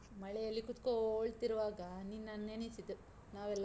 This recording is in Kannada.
ಮಳೆಯಲಿ ಕೂತ್ಕೋಳ್ತಿರುವಾಗ ನಿನ್ನನ್‌ ಎಣಿಸಿತು, ನಾವೆಲ್ಲ.